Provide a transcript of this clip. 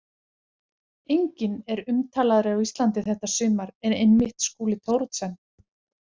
Enginn er umtalaðri á Íslandi þetta sumar en einmitt Skúli Thoroddsen.